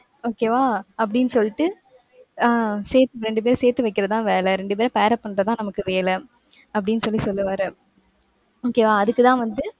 okay வா அப்படின்னு சொல்லிட்டு ஆஹ் சேர்த்~ இரண்டு பேர சேர்த்து வைக்கிறதுதான் வேலை. இரண்டு பேர pair up பண்றதுதான் நமக்கு வேலை. அப்படின்னு சொல்லி சொல்லுவாரு. okay வா அதுக்குத்தான் வந்து,